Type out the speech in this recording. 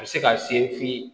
A bɛ se ka se f'i ye